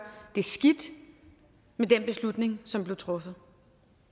skidt med den beslutning som blev truffet